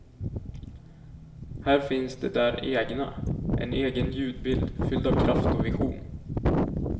Här finns det där egna, en egen ljudbild fylld av kraft och vision.